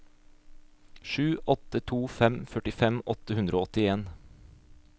sju åtte to fem førtifem åtte hundre og åttien